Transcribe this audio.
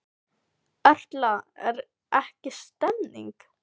Erla, er ekki stemning?